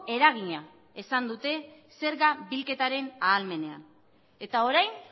eragina izan dute zerga bilketaren ahalmenean eta orain